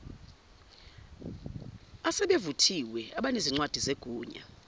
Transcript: asebevuthiwe abanezincwadi zegunya